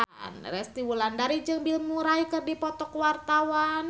Resty Wulandari jeung Bill Murray keur dipoto ku wartawan